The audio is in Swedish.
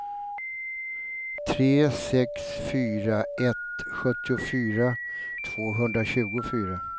tre sex fyra ett sjuttiofyra tvåhundratjugofyra